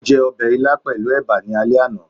o je obe ílá pelu eba ní àlé ana